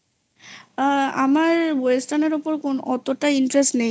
আ আমার western এর ওপর অতটা interest নেই